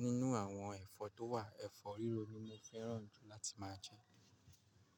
Nínú àwọn ẹ̀fọ́ tó wà, ẹ̀fọ́ rírò ni mo fẹ́ràn jù láti máa jẹ.